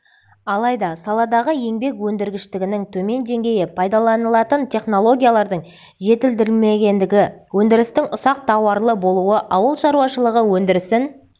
алайда саладағы еңбек өндіргіштігінің төмен деңгейі пайдаланылатын технологиялардың жетілдірілмегендігі өндірістің ұсақ тауарлы болуы ауыл шаруашылығы өндірісін